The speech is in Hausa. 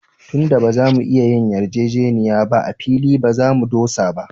Tun da ba za mu iya yin yarjejeniya ba, a fili ba za mu dosa ba